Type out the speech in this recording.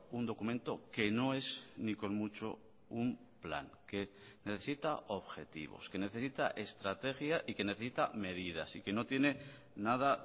un documento que no es ni con mucho un plan que necesita objetivos que necesita estrategia y que necesita medidas y que no tiene nada